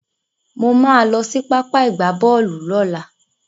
Mo máa lọ sí pápá ìgbábọ́ọ̀lù lọ́la.